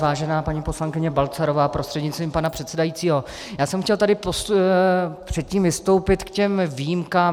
Vážená paní poslankyně Balcarová prostřednictvím pana předsedajícího, já jsem chtěl tady předtím vystoupit k těm výjimkám.